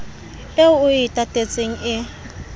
eo o e tatetseng e